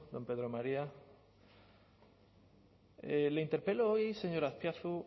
don pedro maría le interpelo hoy señor azpiazu